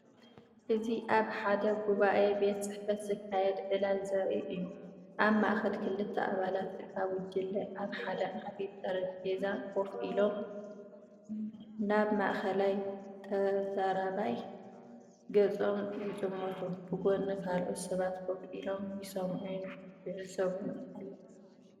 እዚ ኣብ ሓደ ሕቡእ ቤት ጽሕፈት ዝካየድ ዕላል ዘርኢ እዩ። ኣብ ማእከል ክልተ ኣባላት እታ ጉጅለ ኣብ ሓደ ዓቢ ጠረጴዛ ኮፍ ኢሎም፡ ናብ ማእከላይ ተዛራባይ ገጾም ይጥምቱ። ብጎኒ ካልኦት ሰባት ኮፍ ኢሎም ይሰምዑን ይዕዘቡን ኣለዉ።